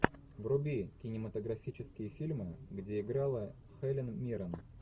вруби кинематографические фильмы где играла хелен миррен